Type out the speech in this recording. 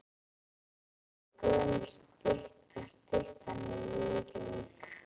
Þetta er gömul stytta. Styttan er í Reykjavík.